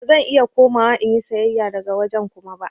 Ba zan iya komawa in yi sayayya daga wajen Kuma ba.